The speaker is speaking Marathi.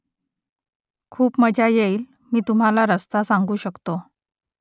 खूप मजा येईल मी तुम्हाला रस्ता सांगू शकतो